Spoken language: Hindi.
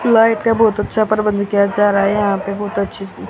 लाइट का बहुत अच्छा प्रबंध किया जा रहा है यहां पे बहुत अच्छी--